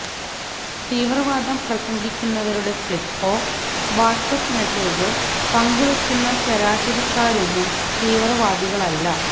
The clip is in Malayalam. തീവ്രവാദം പ്രസംഗിക്കുന്നവരുടെ ക്ലിപ്പോ വാട്സ്ആപ്പ് മെസ്സേജോ പങ്കുവെക്കുന്ന ശരാശരിക്കാരൊന്നും തീവ്രവാദികളല്ല